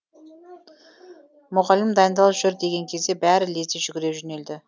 мұғалім дайындал жүр деген кезде бәрі лезде жүгіре жөнелді